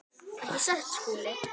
Ekki satt, Skúli?